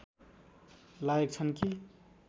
लायक छन् कि